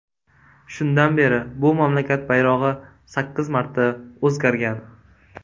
Shundan beri bu mamlakat bayrog‘i sakkiz marta o‘zgargan.